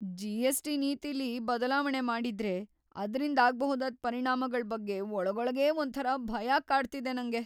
GST. ನೀತಿಲಿ ಬದ್ಲಾವಣೆ ಮಾಡಿದ್ರೆ ಅದ್ರಿಂದಾಗ್ಬಹುದಾದ್ ಪರಿಣಾಮಗಳ್ ಬಗ್ಗೆ ಒಳಗೊಳಗೇ ಒಂಥರಾ ಭಯ ಕಾಡ್ತಿದೆ ನಂಗೆ.